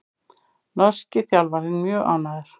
Norski þjálfarinn mjög ánægður